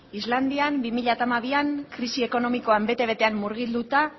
islandian bi mila hamabian krisi ekonomikoa bete betean murgilduta